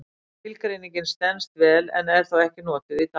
Skilgreiningin stenst vel en er þó ekki notuð í dag.